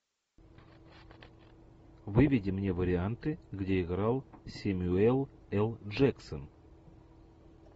выведи мне варианты где играл сэмюэл л джексон